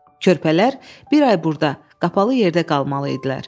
Körpələr bir ay burda qapalı yerdə qalmalı idilər.